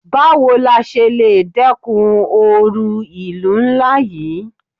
Báwo la ṣe le dẹ́kun oru ìlú ńlá yí?